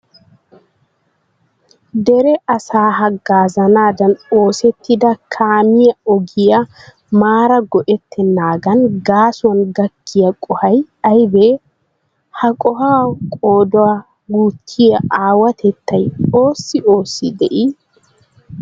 Dere asaa haggaazanaadan oosettida kaamiya ogiya maara go"ettennaagaa gaasuwan gakkiya qohoy aybee? Ha qohuwa qoodaa guuttiyo aawatettay oossi oossi de'ii?